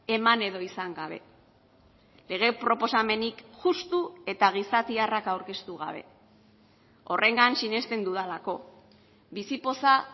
eman edo izan gabe lege proposamenik justu eta gizatiarrak aurkeztu gabe horrengan sinesten dudalako bizipoza